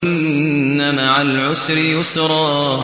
إِنَّ مَعَ الْعُسْرِ يُسْرًا